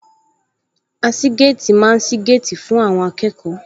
Aṣígéètì máa ń sí géètì fún akẹ́kọ̀ọ́